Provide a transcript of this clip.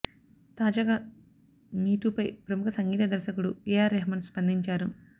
తాజాగా మీటూ పై ప్రముఖ సంగీత దర్శకుడు ఏఆర్ రెహమాన్ స్పందించారు